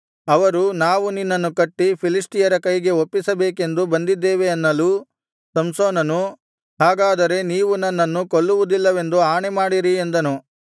ಅವರು ನಾವು ನಿನ್ನನ್ನು ಕಟ್ಟಿ ಫಿಲಿಷ್ಟಿಯರ ಕೈಗೆ ಒಪ್ಪಿಸಬೇಕೆಂದು ಬಂದಿದ್ದೇವೆ ಅನ್ನಲು ಸಂಸೋನನು ಹಾಗಾದರೆ ನೀವು ನನ್ನನ್ನು ಕೊಲ್ಲುವುದಿಲ್ಲವೆಂದು ಆಣೆಮಾಡಿರಿ ಎಂದನು